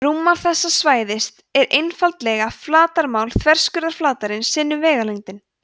rúmmál þessa svæðis er einfaldlega flatarmál þverskurðarflatarins sinnum vegalengdin